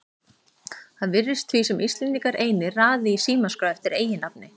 Það virðist því sem Íslendingar einir raði í símaskrá eftir eiginnafni.